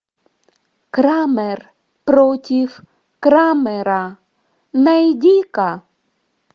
крамер против крамера найди ка